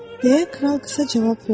Deyə kral qısa cavab verdi.